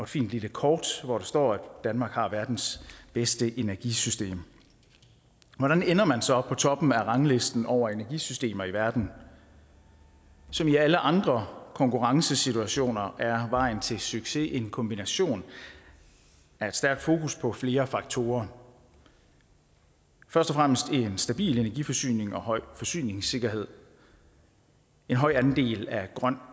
fint lille kort hvor der står at danmark har verdens bedste energisystem hvordan ender man så på toppen af ranglisten over energisystemer i verden som i alle andre konkurrencesituationer er vejen til succes en kombination af et stærkt fokus på flere faktorer først og fremmest en stabil energiforsyning og høj forsyningssikkerhed en høj andel af grøn